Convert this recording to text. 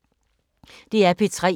DR P3